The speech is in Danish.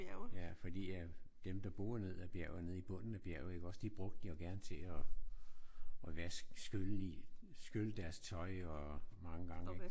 Ja fordi at dem der boede ned ad bjerget nede i bunden af bjerget iggås? De brugte den jo gerne til at at vaske skylle i. Skylle deres tøj og mange gange